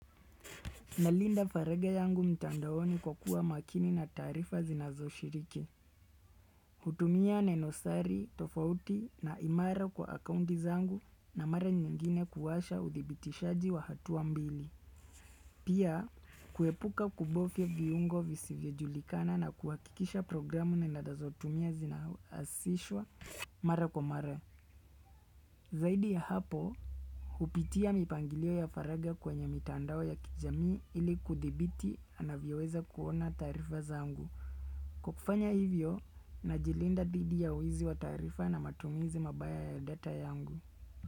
Nalinda faragha yangu mtandaoni kwa kuwa makini na taarifa zinazo shiriki. Hutumia nenosari, tofauti na imara kwa akaundi zangu na mara nyingine kuwasha udibitishaji wa hatuwa mbili. Pia, kuepuka kubovya viungo visiivyojulikana na kuwakikisha programu na na data ninazotumia zina asishwa mara kwa mara. Zaidi ya hapo, hupitia mipangilio ya faragha kwenye mitandao ya kijamii ili kudibiti anavyoweza kuona taarifa zangu. Kukufanya hivyo, najilinda dhidi ya wizi wa taarifa na matumizi mabaya ya data yangu.